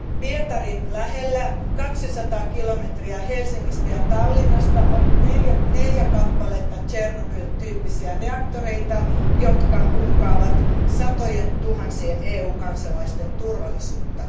Pietarin lähellä, 200 kilometriä Helsingistä ja Tallinnasta, on neljä kappaletta Tšernobyl tyyppisiä reaktoreita, jotka uhkaavat satojen tuhansien EU kansalaisten turvallisuutta.